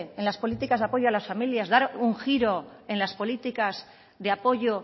en las políticas de apoyo a las familias dar un giro en las políticas de apoyo